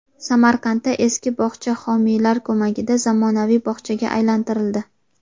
Samarqandda eski bog‘cha homiylar ko‘magida zamonaviy bog‘chaga aylantirildi.